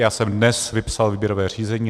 Já jsem dnes vypsal výběrové řízení.